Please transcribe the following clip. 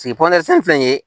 filɛ nin ye